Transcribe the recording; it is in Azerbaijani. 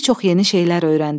Bir çox yeni şeylər öyrəndim.